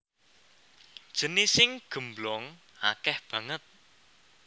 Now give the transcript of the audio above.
Jenising gemblong akèh banget